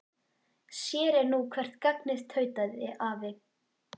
Sér er nú hvert gagnið tautaði afi.